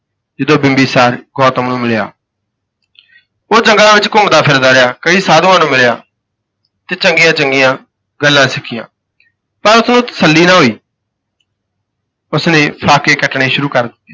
ਜਦੋਂ ਬਿੰਬੀਸਾਰ ਗੌਤਮ ਨੂੰ ਮਿਲਿਆ। ਉਹ ਜੰਗਲਾਂ ਵਿੱਚ ਘੁੰਮਦਾ ਫਿਰਦਾ ਰਿਹਾ ਕਈ ਸਾਧੂਆਂ ਨੂੰ ਮਿਲਿਆ ਤੇ ਚੰਗੀਆਂ ਚੰਗੀਆਂ ਗੱਲਾਂ ਸਿੱਖੀਆਂ। ਪਰ ਉਸਨੂੰ ਤਸੱਲੀ ਨਾ ਹੋਈ। ਉਸਨੇ ਸਾਕੇ ਕੱਟਣੇ ਸ਼ੁਰੂ